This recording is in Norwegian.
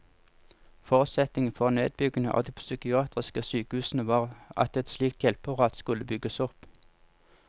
Forutsetningen for nedbyggingen av de psykiatriske sykehusene var at et slikt hjelpeapparat skulle bygges opp.